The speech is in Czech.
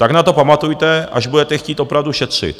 Tak na to pamatujte, až budete chtít opravdu šetřit.